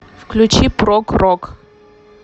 включи прог рок